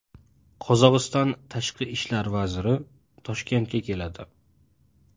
Qozog‘iston tashqi ishlar vaziri o‘rinbosari Toshkentga keladi.